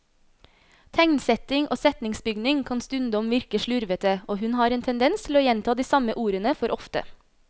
Tegnsetting og setningsbygning kan stundom virke slurvete, og hun har en tendens til å gjenta de samme ordene for ofte.